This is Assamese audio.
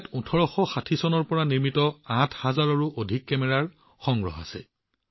ইয়াত ১৮৬০ চনৰ পিছত যুগটোৰ ৮ হাজাৰতকৈও অধিক কেমেৰাৰ সংগ্ৰহ আছে